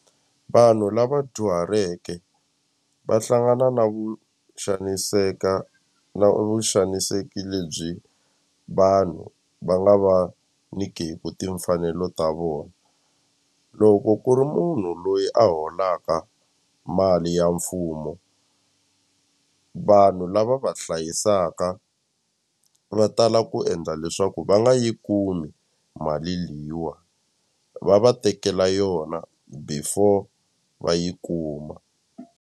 Vanhu lava dyuhaleke va hlangana na vu xaniseka na vu xaniseki lebyi vanhu va nga va nyikeku timfanelo ta vona loko ku ri munhu loyi a holaka mali ya mfumo vanhu lava va hlayisaka va tala ku endla leswaku va nga yi kumi mali leyiwa va va tekela yona before va yi kuma.